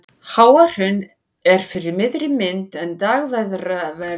Háahraun er fyrir miðri mynd en Dagverðará þar til hægri.